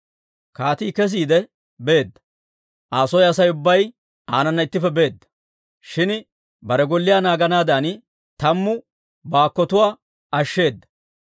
Kaatii kesiide beedda; Aa soo Asay ubbay aanana ittippe beedda; shin bare golliyaa naaganaadan tammu baakkotuwaa ashsheeda.